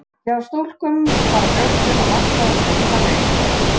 Hjá stúlkum fara brjóstin að vaxa um svipað leyti.